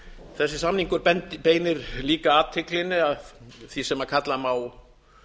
þessi samningur beinir líka athyglinni að því sem kalla má